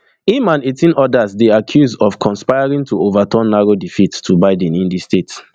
im and eighteen odas dey accuse of conspiring to ova turn narrow defeat to biden in di state